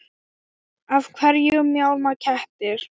Af hverju mjálma kettir?